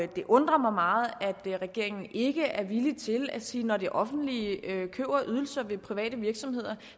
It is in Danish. det undrer mig meget at regeringen ikke er villig til at sige at når det offentlige køber ydelser af private virksomheder